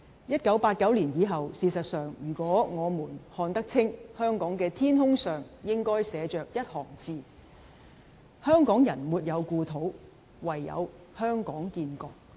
1989年以後，事實上，如果我們看得清，香港的天空上應該寫着一行字'香港人沒有故土，唯有香港建國'。